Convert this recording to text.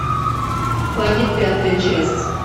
побег пятая часть